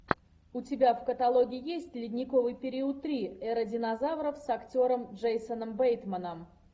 у тебя в каталоге есть ледниковый период три эра динозавров с актером джейсоном бейтманом